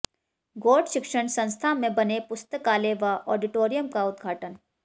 गौड़ शिक्षण संस्था में बने पुस्तकालय व आडिटोरियम का उद्घाटन